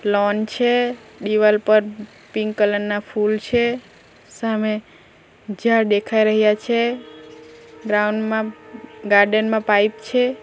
Loan છે દિવાલ પર પિંક કલર ના ફૂલ છે સામે ઝાડ દેખાઈ રહ્યા છે ગ્રાઉન્ડ માં ગાર્ડન માં પાઇપ છે.